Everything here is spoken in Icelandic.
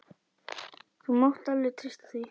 Þú mátt alveg treysta því.